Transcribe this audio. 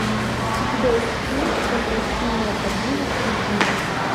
у тебя есть фильм возвращение ходжи насреддина